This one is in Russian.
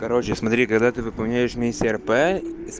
короче смотри когда ты выполняешь миссия рп